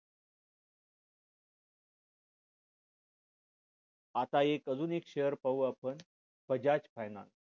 आता एक अजून एक share पाहू आपण bajaj finance